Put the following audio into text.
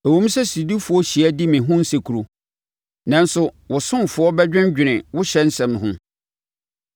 Ɛwom sɛ sodifoɔ hyia di me ho nsekuro, nanso wo ɔsomfoɔ bɛdwendwene wo ɔhyɛ nsɛm ho.